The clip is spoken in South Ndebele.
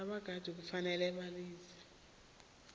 abaqatjhi kufanele bazalise